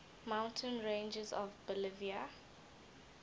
mountain ranges of bolivia